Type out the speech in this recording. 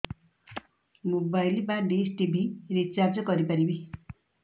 mobile ବା dish TV recharge କରି ପାରିବି